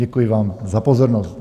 Děkuji vám za pozornost.